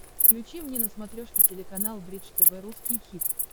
включи мне на смотрешке телеканал бридж тв русский хит